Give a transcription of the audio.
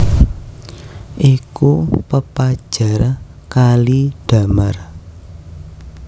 Iku pepajar kali damar